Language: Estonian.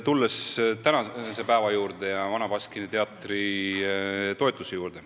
Kõigepealt tänasest päevast ja Vana Baskini Teatri toetusest.